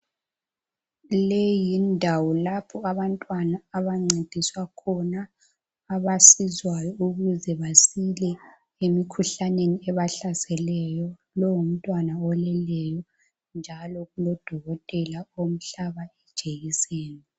Leyi yindawo lapho abantwana abancediswa khona abasizwayo ukuze basile emikhuhlaneni ebahlaseleyo lowu ngumntwana oleleyo njalo kulodokotela omhlaba ijekiseni.